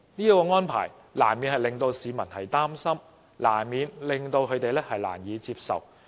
這種安排難免令市民擔心和難以接受。